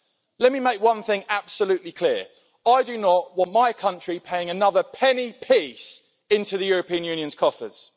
Let me make one thing absolutely clear I do not want my country paying another penny piece into the European Union's coffers.